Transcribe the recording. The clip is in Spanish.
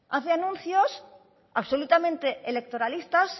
hace anuncios absolutamente electoralistas